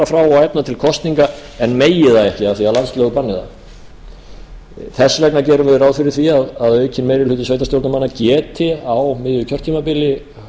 og efna til kosninga en megi það ekki af því að landslög banni það þess vegna gerum við ráð fyrir því að aukinn meiri hluti sveitarstjórnarmanna geti á miðju kjörtímabili